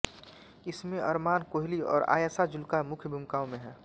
इसमें अरमान कोहली और आयशा जुल्का मुख्य भूमिकाओं में हैं